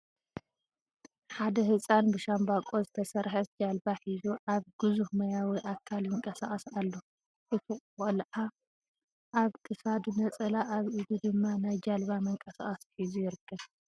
ሓደ ህፃን ብ ሻምቦቆ ዝተሰረሕት ጃልባ ሒዙ ኣብ ግዙፍ ማያዊ ኣካል ይንቀሳቅስ ኣሎ ። እቲ ቆልዕ ኣብ ኪሳዱ ነፀላ ኣብ ኢዱ ድማ ናይ ጅልባ ምንቀሳቀሲ ሒዙ ይርከብ ።